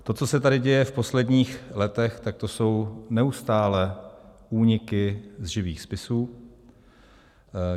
To, co se tady děje v posledních letech, tak to jsou neustálé úniky z živých spisů.